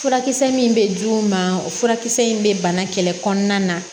Furakisɛ min bɛ di u ma o furakisɛ in bɛ bana kɛlɛ kɔnɔna na